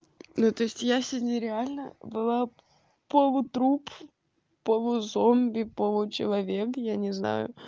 ну то есть я сегодня реально была полутруп полузомби получеловек я не знаю